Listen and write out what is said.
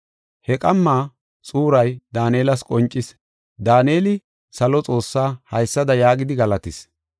He qamma xuuray Daanelas qoncis. Daaneli salo Xoossaa haysada yaagidi galatis;